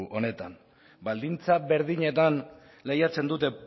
honetan baldintza berdinetan lehiatzen dute